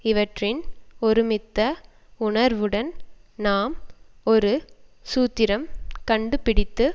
இவற்றின் ஒருமித்த உணர்வுடன் நாம் ஒரு சூத்திரம் கண்டு பிடித்து